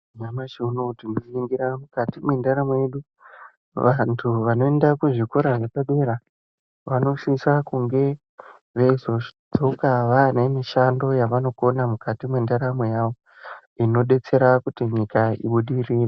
Nyamashi unouyu tinoringira mukati mwendaramo yedu. Vantu vanoenda kuzvikora zvepadera vanosisa kunge veizodzoka vanemishando yavanokona mukati mwendaramo yavo, inobetsera kuti nyika ibudirire.